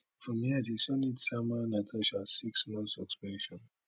from here di senate sama natasha six months suspension